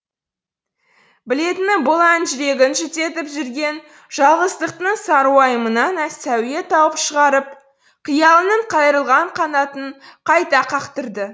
білетіні бұл ән жүрегін жүдетіп жүрген жалғыздықтың сарыуайымынан сәуе тауып шығарып қиялының қайырылған қанатын қайта қақтырды